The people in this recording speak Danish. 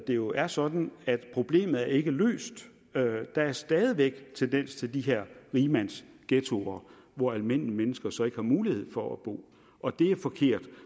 det jo er sådan at problemet ikke er løst der er stadig væk en tendens til de her rigmandsghettoer hvor almindelige mennesker så ikke har mulighed for at bo og det er forkert